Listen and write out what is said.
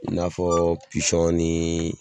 I n'a fɔ pisɔn ni